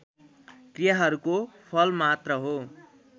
क्रियाहरूको फलमात्र हो